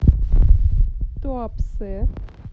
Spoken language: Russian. туапсе